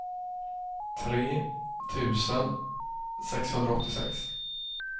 tre tusen sexhundraåttiosex